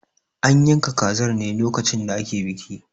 An yanka kazar ne lokacin da ake biki.